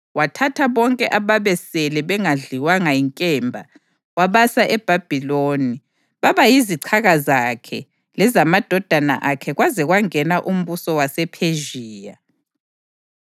Wathatha bonke ababesele bengadliwanga yinkemba wabasa eBhabhiloni baba yizichaka zakhe lezamadodana akhe kwaze kwangena umbuso wasePhezhiya.